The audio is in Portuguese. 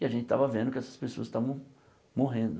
E a gente estava vendo que essas pessoas estavam morrendo.